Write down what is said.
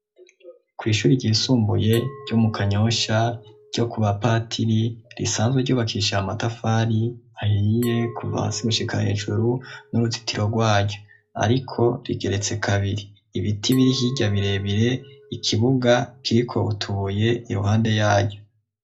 Kw'shure ryisumbuye ryo mu kanyosha ryo ku bapatiri risanzwe ryubakishije amatafari ahiye kuva hasi gushika hejuru n'uruzitiro rwayo ariko rigeretse kabiri ibiti biri hirya birebire ikibuga kiriko utubuye iruhande yaryo.